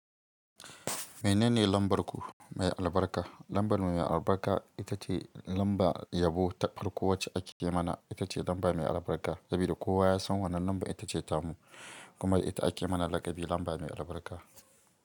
Menene lambar ku mai albarka? Lambar mu mai albarka ita ce lamba yabo, ta farko wacce ake mana ita ce lamba mai albarka. Saboda kowa ya san wane lamba ita ce tamu kuma ita ake mana lakabi lamba mai albarka.